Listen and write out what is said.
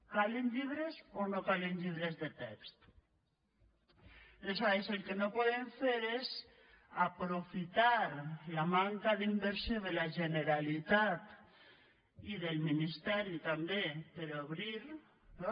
calen llibres o no calen llibres de text aleshores el que no podem fer és aprofitar la manca d’inversió de la generalitat i del ministeri també per a obrir no